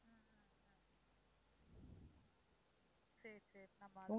சரி, சரி நான் பார்த்துக்கிறேன்.